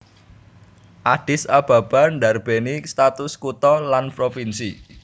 Addis Ababa ndarbèni status kutha lan provinsi